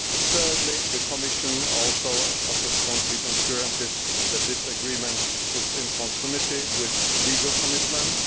Thirdly, the Commission has also offered concrete assurances that this agreement is in conformity with legal commitments.